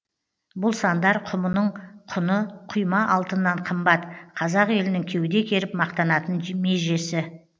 бұл сандар құмының құны құйма алтыннан қымбат қазақ елінің кеуде керіп мақтанатын межесі